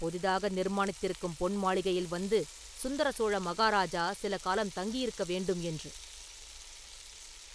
புதிதாக நிர்மாணித்திருக்கும் பொன் மாளிகையில் வந்து சுந்தர சோழ மகாராஜா சில காலம் தங்கியிருக்க வேண்டும் என்று.”